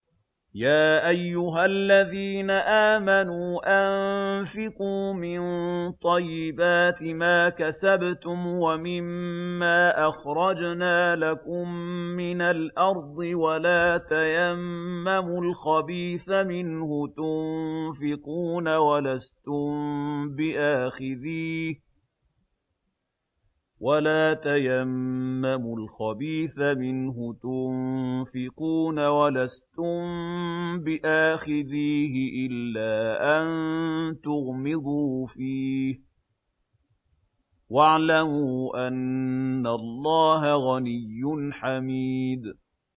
يَا أَيُّهَا الَّذِينَ آمَنُوا أَنفِقُوا مِن طَيِّبَاتِ مَا كَسَبْتُمْ وَمِمَّا أَخْرَجْنَا لَكُم مِّنَ الْأَرْضِ ۖ وَلَا تَيَمَّمُوا الْخَبِيثَ مِنْهُ تُنفِقُونَ وَلَسْتُم بِآخِذِيهِ إِلَّا أَن تُغْمِضُوا فِيهِ ۚ وَاعْلَمُوا أَنَّ اللَّهَ غَنِيٌّ حَمِيدٌ